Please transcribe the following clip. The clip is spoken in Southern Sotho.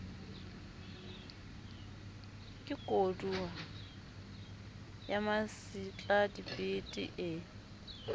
ke kodua ya masetladibete ee